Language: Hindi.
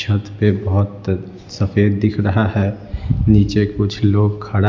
छत पे बहुत सफेद दिख रहा है नीचे कुछ लोग खडा--